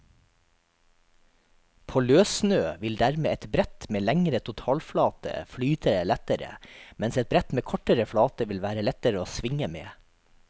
På løssnø vil dermed et brett med lengre totalflate flyte lettere, mens et brett med kortere flate vil være lettere å svinge med.